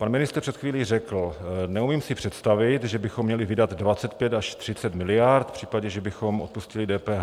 Pan ministr před chvílí řekl: Neumím si představit, že bychom měli vydat 25 až 30 miliard v případě, že bychom odpustili DPH.